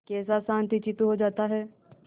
कैसा शांतचित्त हो जाता है